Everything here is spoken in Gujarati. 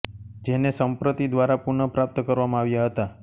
જેને સંપ્રતિ દ્વારા પુન પ્રાપ્ત કરવામાં આવ્યા હતા